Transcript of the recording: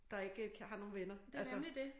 Der ikke har nogen venner altså